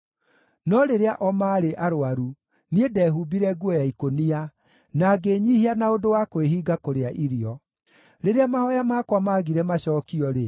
No rĩrĩa o maarĩ arũaru, niĩ ndehumbire nguo ya ikũnia, na ngĩĩnyiihia na ũndũ wa kwĩhinga kũrĩa irio. Rĩrĩa mahooya makwa maagire macookio-rĩ,